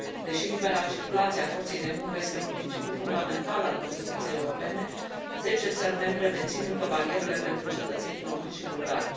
Deși libera circulație a forței de muncă este un principiu fundamental al construcției europene, zece țări membre mențin încă barierele pentru cetățenii români și bulgari.